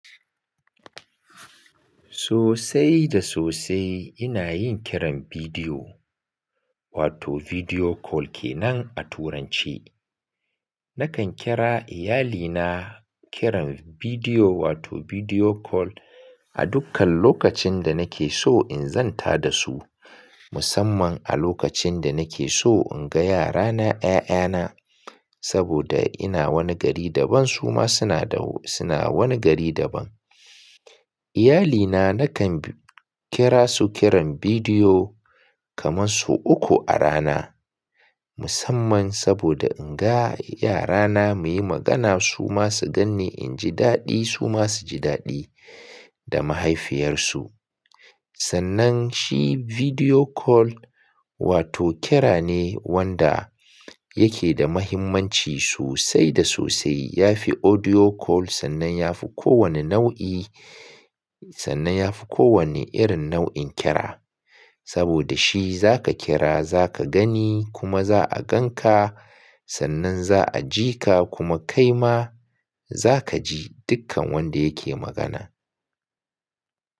Sosai da sosai ina yin kiran vidiyo wato video call kenan a turanci. Nakan kira iyalina kiran vidiyo wato video call a dukkan lokacin da nake so in zanta da su, musamman a lokacin da nake so in ga yarana, 'ya'yana saboda ina wani gari daban su ma suna da wo-- suna wani gari daban. Iyali na nakan kira su kiran vidiyo kaman sau uku a rana, musamman saboda in ga yarana muyi magana su ma su ganni inji daɗi su ma suji daɗi da mahaifiyarsu. Sannan shi video call wato kira ne wanda yake da mahimmanci sosai da sosai. Yafi audio call sannan yafi kowane nau'i, sannan yafi kowane irin nau'in kira. Saboda shi za ka kira za ka gani kuma za a ganka sannan za a ji ka kuma kai ma za ka ji dukkan wanda yake magana.